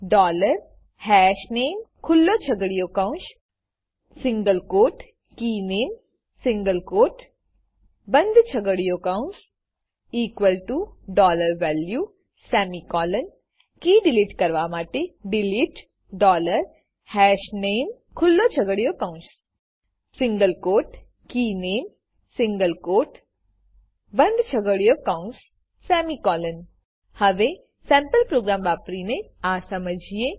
dollar હશનામે ખુલ્લો છગડીયો કૌંસ સિંગલ ક્વોટ કીનામે સિંગલ ક્વોટ બંદ છગડીયો કૌંસ equal to value semicolon key delete કરવા માટે ડિલીટ ડોલર હશનામે ખુલ્લો છગડીયો કૌંસ સિંગલ ક્વોટ કીનામે સિંગલ ક્વોટ બંદ છગડીયો કૌંસ સેમિકોલોન હવે સેમ્પલ પ્રોગ્રામ વાપરીને આ સમજીએ